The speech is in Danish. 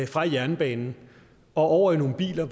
fra jernbanen og over i nogle biler